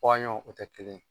Waɲɔn o tɛ kelen ye.